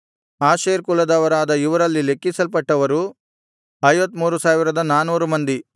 Asher ಕುಲದವರಾದ ಇವರಲ್ಲಿ ಲೆಕ್ಕಿಸಲ್ಪಟ್ಟವರು 53400 ಮಂದಿ